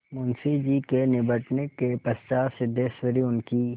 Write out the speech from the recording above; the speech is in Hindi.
मुंशी जी के निबटने के पश्चात सिद्धेश्वरी उनकी